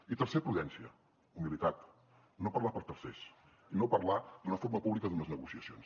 i tercer prudència humilitat no parlar per tercers i no parlar d’una forma pública d’unes negociacions